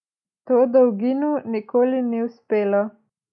To dolginu nikoli ni uspelo.